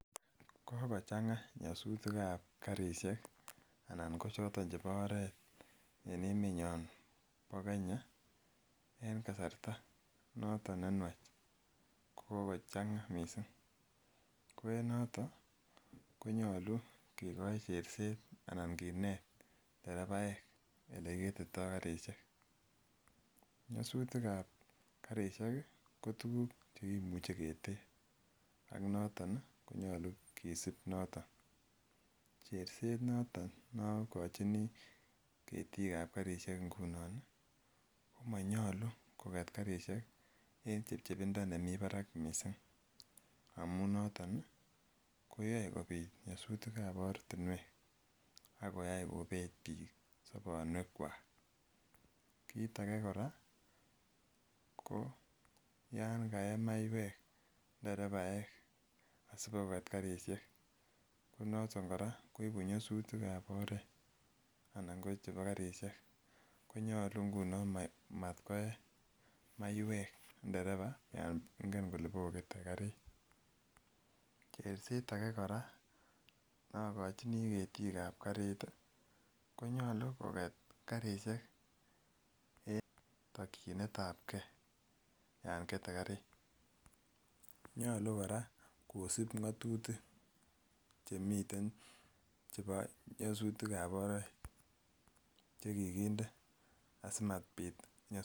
Kokochang'a nyosutik ab karisiek anan ko choton chebo oret en emenyon bo Kenya en kasarta noton nenwach ko kokochang'a missing ko en noton konyolu kikoi cherset anan kinet nderepaek elekiketitoo karisiek. Nyosutik ab karisiek ko tuguk che kimuche keter ak noton ih konyolu kisib noton cherset noton nokochini ketik ab karisiek ngunon ih komonyolu koket karisiek en chepchepindo nemii barak missing amun noton ih koyoe kobit nyosutik ab ortinwek akoyai kobet biik sobonwek kwak. Kit age kora ko yan kaee maiek nderepaek asikoket karisiek konoton kora koibu nyosutik ab oret anan ko chebo karisiek konyolu ngunon matkoe maiek nderepa yan ngen kole bokokete karit. Cherset ake kora nokochini ketik ab karit ih konyolu koket karisiek en tokyinet ab gee yan kete karit nyolu kora kosib ng'otutik chemiten chebo nyosutik ab oret chekikinde asimabit nyosutik